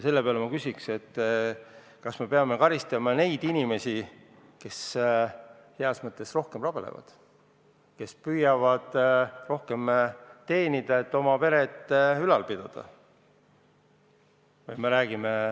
Selle peale ma küsin, kas me peame karistama neid inimesi, kes heas mõttes rohkem rabelevad, kes püüavad rohkem teenida, et oma peret ülal pidada.